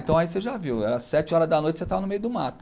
Então aí você já viu, era sete horas da noite, você tava no meio do mato.